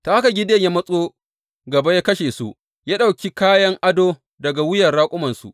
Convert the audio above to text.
Ta haka Gideyon ya matso gaba ya kashe su, ya ɗauki kayan ado daga wuyar raƙumansu.